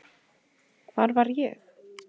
Hvar var ég?